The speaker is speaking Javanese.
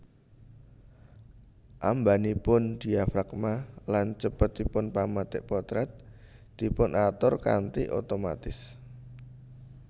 Ambanipun diafragma lan cepetipun pemetik potret dipun atur kanthi otomatis